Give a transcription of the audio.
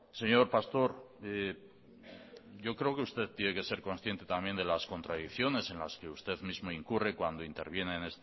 señor pastor yo creo que usted tiene que ser consciente también de las contradicciones en las que usted mismo incurre cuando interviene